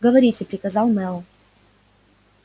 говорите приказал мэллоу